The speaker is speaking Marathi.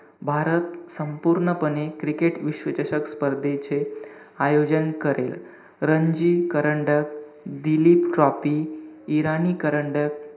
भारत संपूर्णपणे cricket विश्वचषक स्पर्धेचे आयोजन करेल. रणजी करंडक, दिलीप ट्रॉफी, इराणी करंडक,